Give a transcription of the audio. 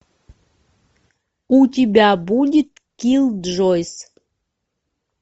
у тебя будет киллджойс